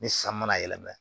Ni san mana yɛlɛma